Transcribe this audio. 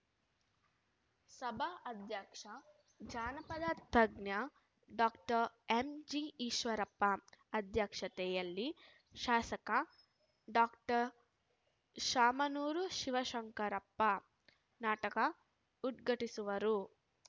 ಸಭಾ ಅಧ್ಯಕ್ಷ ಜಾನಪದ ತಜ್ಞ ಡಾಕ್ಟರ್ ಎಂಜಿಈಶ್ವರಪ್ಪ ಅಧ್ಯಕ್ಷತೆಯಲ್ಲಿ ಶಾಸಕ ಡಾಕ್ಟರ್ ಶಾಮನೂರು ಶಿವಶಂಕರಪ್ಪ ನಾಟಕ ಉದ್ಘಾಟಿಸುವರು